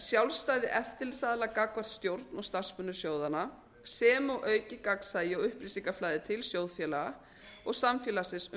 sjálfstæði eftirlitsaðila gagnvart stjórn og starfsmönnum sjóðanna sem og aukið gagnsæi og upplýsingaflæði til sjóðfélaga og samfélagsins um